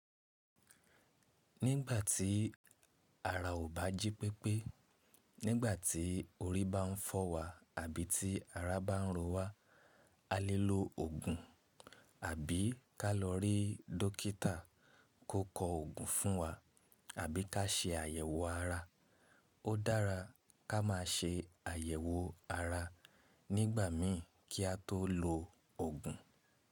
Nígbà tí ara ò bá jí pépé, nígbà tí orí bá ń fọ́ wa àbí tí ara bá ń roọ wa, a lè lo òògùn àbí ká lọ rí dókítà kó kọ òògùn fún wa àbí ká ṣe àyẹ̀wò ara. Ó dára ká má ṣe àyẹ̀wò ara nígbà mí kí a tó lo òògùn.